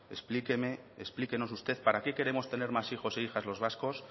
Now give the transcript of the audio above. explíquenos usted para qué queremos tener más hijos e hijas los vascos